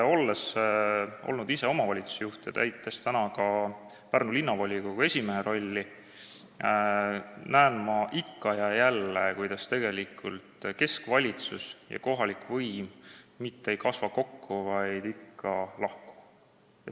Olles olnud ise omavalitsusjuht ja täites ka praegu Pärnu Linnavolikogu esimehe rolli, näen ma ikka ja jälle, kuidas keskvalitsus ja kohalik võim mitte ei kasva kokku, vaid ikka lahku.